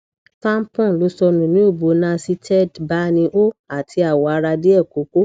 tampon lo sonu ni obo nauseated bani o ati awo ara die koko